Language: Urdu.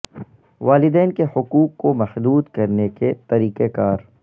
والدین کے حقوق کو محدود کرنے کے طریقہ کار